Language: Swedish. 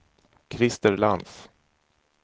Christer Lantz